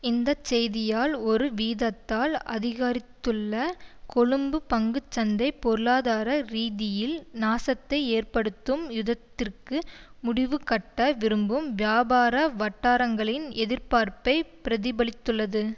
இந்த செய்தியால் ஒரு வீதத்தால் அதிகரித்துள்ள கொழும்பு பங்கு சந்தை பொருளாதார ரீதியில் நாசத்தை ஏற்படுத்தும் யுத்ததிற்கு முடிவுகட்ட விரும்பும் வியாபார வட்டாரங்களின் எதிர்பார்ப்பை பிரதிபலித்துள்ளது